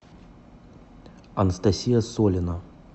анастасия солина